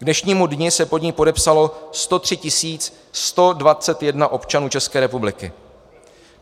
K dnešnímu dni se pod ni podepsalo 103 121 občanů České republiky.